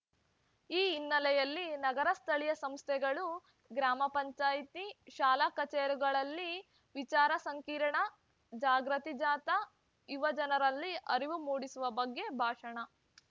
ಈ ಹಿನ್ನಲೆಯಲ್ಲಿ ನಗರ ಸ್ಥಳೀಯ ಸಂಸ್ಥೆಗಳು ಗ್ರಾಮ ಪಂಚಾಯತಿ ಶಾಲಾಕಾಲೇಜುಗಳಲ್ಲಿ ವಿಚಾರ ಸಂಕಿರಣ ಜಾಗೃತಿ ಜಾಥಾ ಯುವಜನರಲ್ಲಿ ಅರಿವು ಮೂಡಿಸುವ ಬಗ್ಗೆ ಭಾಷಣ